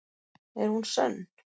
Er hún sönn?